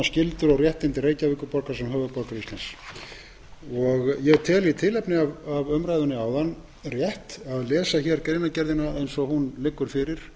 skyldur og réttindi reykjavíkurborgar sem höfuðborgar íslands ég tel í tilefni af umræðunni áðan rétt að lesa greinargerðina eins og hún liggur fyrir